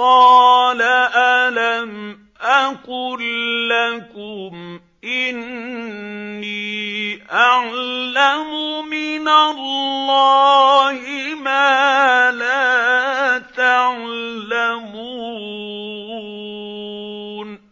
قَالَ أَلَمْ أَقُل لَّكُمْ إِنِّي أَعْلَمُ مِنَ اللَّهِ مَا لَا تَعْلَمُونَ